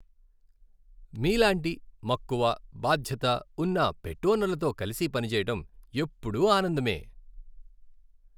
మీలాంటి మక్కువ, బాధ్యత ఉన్న పెట్ ఓనర్లతో కలిసి పనిచేయడం ఎప్పుడూ ఆనందమే.